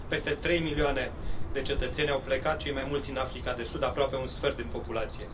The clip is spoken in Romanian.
Peste trei milioane de cetățeni au plecat cei mai mulți în Africa de Sud aproape un sfert din populație.